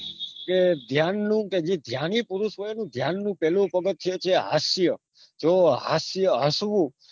કે જ્ઞાનનું કે જે જ્ઞાની પુરુષ હોય ને જ્ઞાનનું પહેલું પગથીયું છે એ હાસ્ય જો હાસ્ય હસવું